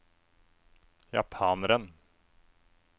japaneren